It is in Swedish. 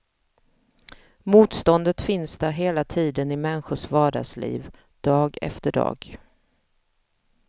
Motståndet finns där hela tiden i människors vardagsliv, dag efter dag.